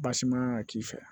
Basi man kan ka k'i fɛ